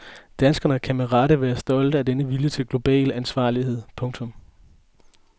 Danskerne kan med rette være stolte af denne vilje til global ansvarlighed. punktum